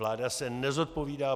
Vláda se nezodpovídá